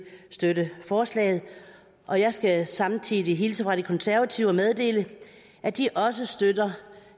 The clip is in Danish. støtte forslaget og jeg skal samtidig hilse fra de konservative meddele at de også støtter